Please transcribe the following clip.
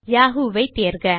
Yahoo ஐ தேர்க